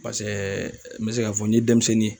Paseke n be se ka fɔ n ye denmisɛnnin